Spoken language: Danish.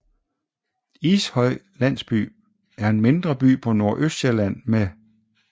Ishøj Landsby er en mindre by på Nordøstsjælland med